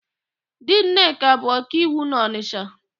Di Nneka bụ ọkaiwu na ọnịsha.